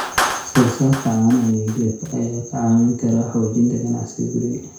Soosaarka caanaha iyo hilibka ayaa kaa caawin kara xoojinta ganacsiga guriga.